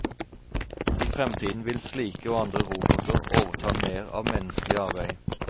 I fremtiden vil slike og andre roboter overta mer av menneskelig arbeid.